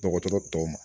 Dɔgɔtɔrɔ tɔw ma